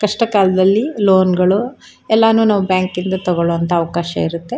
ಕಷ್ಟಕಾಲದಲ್ಲಿ loan ಗಳು ಎಲ್ಲಾನು ನಾವು ಬ್ಯಾಂಕಿಂದ ತೋಕೋಳೋವಂತ ಅವಕಾಶ ಇರುತ್ತೆ.